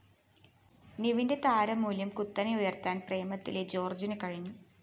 നിവിന്റെ താരമൂല്യം കുത്തനെ ഉയര്‍ത്താന്‍ പ്രേമത്തിലെ ജോര്‍ജിന് കഴിഞ്ഞു